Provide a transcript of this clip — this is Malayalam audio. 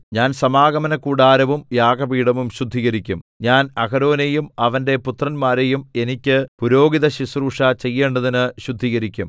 ഞാൻ സമാഗമനകൂടാരവും യാഗപീഠവും ശുദ്ധീകരിക്കും ഞാൻ അഹരോനെയും അവന്റെ പുത്രന്മാരെയും എനിക്ക് പുരോഹിതശുശ്രൂഷ ചെയ്യേണ്ടതിന് ശുദ്ധീകരിക്കും